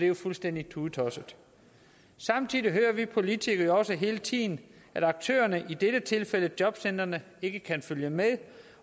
jo fuldstændig tudetosset samtidig hører vi politikere jo også hele tiden at aktørerne i dette tilfælde jobcentrene ikke kan følge med